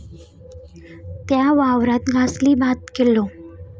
त्या वावरात गासली भात केल्लो